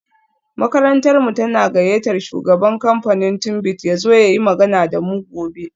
Makarantarmu tana gayyatar shugaban kamfanin Tunbit ya zo ya yi magana da mu gobe